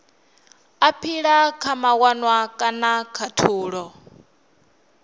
aphila kha mawanwa kana khathulo